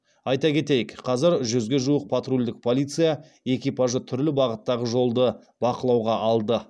айта кетейік қазір жүзге жуық патрульдік полиция экипажы түрлі бағыттағы жолды бақылауға алды